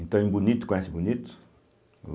Então, em Bonito, conhece Bonito?